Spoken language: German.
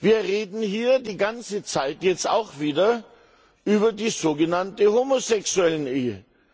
Wir reden hier die ganze Zeit, jetzt auch wieder, über die sogenannte Homosexuellenehe.